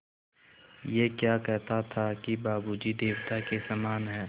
ऐं क्या कहता था कि बाबू जी देवता के समान हैं